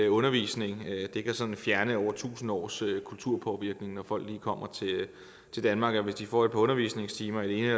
undervisning kan fjerne over tusind års kulturpåvirkning når folk lige kommer til danmark og hvis de får et par undervisningstimer i det